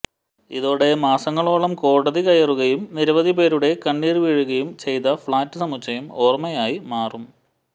ഇതോടെ മാസങ്ങളോളം കോടതി കയറുകയും നിരവധി പേരുടെ കണ്ണീർ വീഴുകയും ചെയ്ത ഫ്ളാറ്റ് സമുച്ചയം ഓർമ്മയായി മാറും